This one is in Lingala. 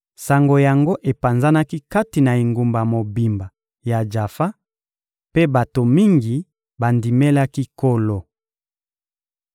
Sango yango epanzanaki kati na engumba mobimba ya Jafa, mpe bato mingi bandimelaki Nkolo.